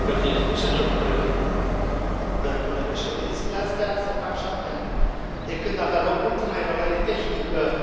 Domnul președinte, zilele astea se fac șapte ani de când avea loc ultima evaluare tehnică a dosarului României privitor la Schengen.